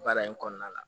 Baara in kɔnɔna la